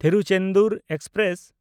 Tiruchendur express